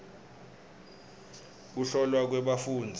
kuhlolwa kwebafundzi